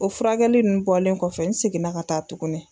O furakɛli nunnu bɔlen kɔfɛ, n seginna ka taa tugunni.